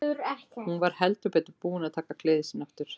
Hún var heldur betur búin að taka gleði sína aftur.